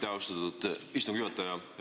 Aitäh, austatud istungi juhataja!